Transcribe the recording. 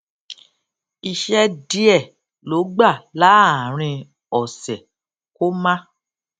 iṣẹ díẹ ló gbà láàárín òsè kó má